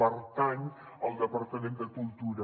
pertany al departament de cultura